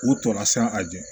U tɔ nasina a jɛ